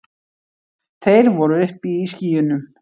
Þeir voru uppi í skýjunum.